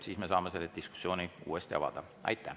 Siis me saame selle diskussiooni uuesti avada.